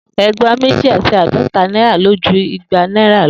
Egba meji ati aadota naira lo ju igba naira lo.